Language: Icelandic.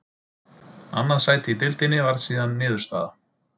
Annað sæti í deildinni varð síðan niðurstaða.